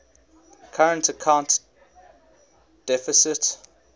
current account deficit